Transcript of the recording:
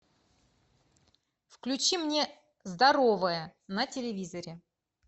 включи мне здоровое на телевизоре